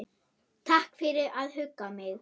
Takk fyrir að hugga mig.